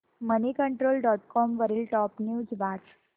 Moneycontrol dot com वरील top news वाच